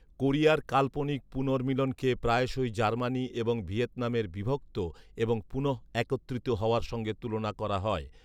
কোরিয়ার কাল্পনিক পুনর্মিলনকে প্রায়শই জার্মানি এবং ভিয়েতনামের বিভক্ত এবং পুনঃএকত্রিত হওয়ার সঙ্গে তুলনা করা হয়